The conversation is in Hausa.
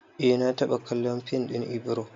Eh na taɓa kallon fim ɗin Ibro